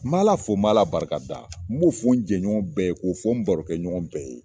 N bɛ Ala fo, n bɛ Ala barika da, n b'o fɔ n jɛɲɔgɔn bɛɛ ye, k'o fɔ n barokɛɲɔgɔn bɛɛ ye.